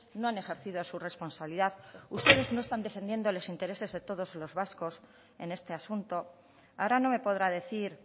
no han ejercido su responsabilidad ustedes no están defendiendo los intereses de todos los vascos en este asunto ahora no me podrá decir